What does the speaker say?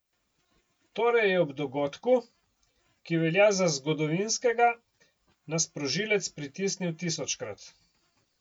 Torej je ob dogodku, ki velja za zgodovinskega, na sprožilec pritisnil tisočkrat.